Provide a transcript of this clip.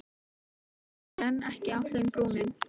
Og þá lyftist heldur en ekki á þeim brúnin.